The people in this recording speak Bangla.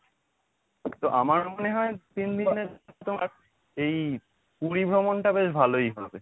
তো আমার মনে হয় তিনদিনের এই পুরী ভ্রমণটা বেশ ভালোই হবে।